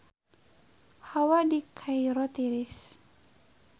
Hawa di Kairo tiris